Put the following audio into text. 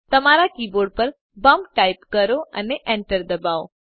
તમારા કીબોર્ડ પર Bumpટાઈપ કરો અને enter દબાવો